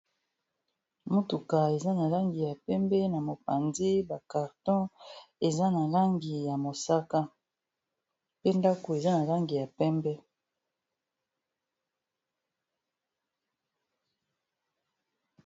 Motuka eza na langi ya pembe na mopanzi bacarton eza na langi ya mosaka pe ndako eza na langi ya pembe